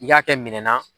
I y'a kɛ minɛn na